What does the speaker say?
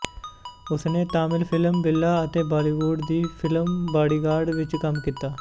ਉਸਨੇ ਤਮਿਲ ਫ਼ਿਲਮ ਬਿੱਲਾ ਅਤੇ ਬਾਲੀਵੁੱਡ ਦੀ ਫਿਲਮ ਬਾਡੀਗਾਰਡ ਵਿੱਚ ਕੰਮ ਕੀਤਾ